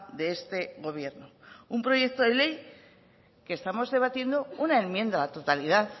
de este gobierno un proyecto de ley que estamos debatiendo una enmienda a la totalidad